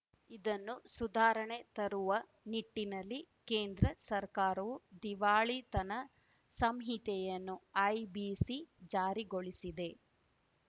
ಇದನ್ನು ಸುಧಾರಣೆ ತರುವ ನಿಟ್ಟಿನಲ್ಲಿ ಕೇಂದ್ರ ಸರ್ಕಾರವು ದಿವಾಳಿತನ ಸಂಹಿತೆಯನ್ನು ಐಬಿಸಿ ಜಾರಿಗೊಳಿಸಿದೆ